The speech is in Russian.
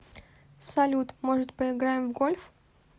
салют может поиграем в гольф